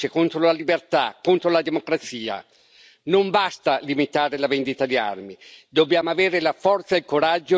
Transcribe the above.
Non basta limitare la vendita di armi, dobbiamo avere la forza e il coraggio di bloccare una vera e propria follia criminale.